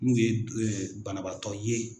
N'u ye banabaatɔ ye.